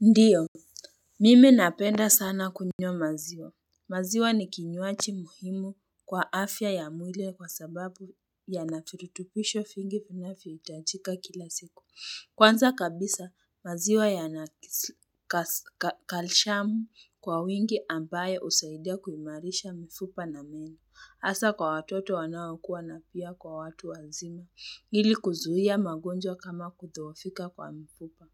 Ndiyo, mimi napenda sana kunywa maziwa. Maziwa ni kinywaji muhimu kwa afya ya mwili kwa sababu yana virutubisho vingi vinavyo hitajika kila siku. Kwanza kabisa, maziwa yana kalishamu kwa wingi ambayo husaidia kuimarisha mifupa na meno. Hasa kwa watoto wanawakua na pia kwa watu wazima, ili kuzuia magonjwa kama kudhoofika kwa mifupa.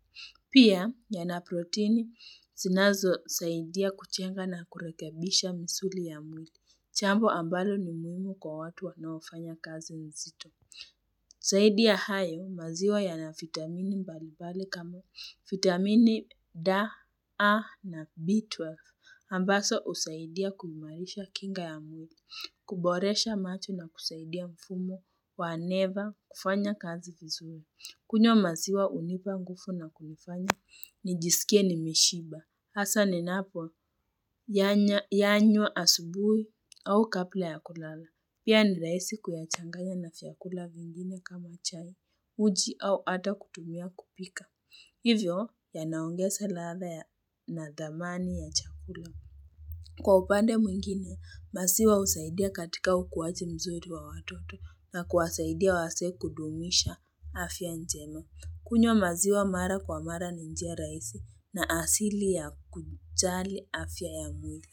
Pia, yana proteini, zinazo saidia kujenga na kurekebisha misuli ya mwili. Jambo ambalo ni muhimu kwa watu wanaofanya kazi mzito. Zaidi ya hayo, maziwa yana vitamini mbalimbali kama vitamini DA, A na B12. Ambaz husaidia kuimarisha kinga ya mwili. Kuboresha macho na kusaidia mfumo wa neva kufanya kazi vizuri. Kunywa maziwa hunipa nguvu na kunifanya nijisikie nimeshiba. Hasa ninapoyanywa asubuhi au kabla ya kulala. Pia ni rahisi kuyachanganya na vyakula vingine kama chai, uji au hata kutumia kupika. Hivyo, yanaongeza ladha ya na dhamani ya chakula. Kwa upande mwingine, maziwa husaidia katika ukuwaji mzuri wa watoto na kuwasaidia wazee kudumisha afya njema. Kunywa maziwa mara kwa mara ni njia rahisi na asili ya kujali afya ya mwili.